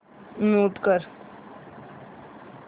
mute कर